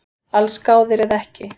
Allsgáðir eða ekki